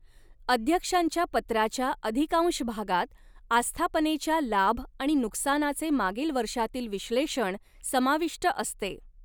अध्यक्षांच्या पत्राच्या अधिकांश भागात, आस्थापनेच्या लाभ आणि नुकसानाचे मागील वर्षातील विश्लेषण समाविष्ट असते.